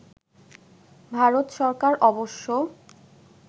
ভারত সরকার অবশ্য